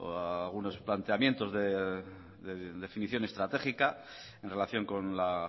algunos planteamientos de definición estratégica en relación con la